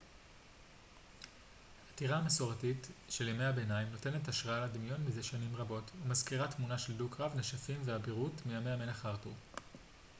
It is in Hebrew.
הטירה המסורתית של ימי הביניים נותנת השראה לדמיון מזה שנים רבות ומזכירה תמונות של דו-קרב נשפים ואבירות מימי המלך ארתור